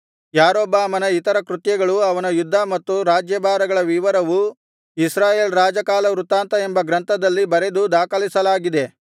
ಯಾರೊಬ್ಬಾಮನ ಇತರ ಕೃತ್ಯಗಳೂ ಅವನ ಯುದ್ಧ ಮತ್ತು ರಾಜ್ಯಭಾರಗಳ ವಿವರವೂ ಇಸ್ರಾಯೇಲ್ ರಾಜಕಾಲವೃತ್ತಾಂತ ಎಂಬ ಗ್ರಂಥದಲ್ಲಿ ಬರೆದು ದಾಖಲಿಸಲಾಗಿದೆ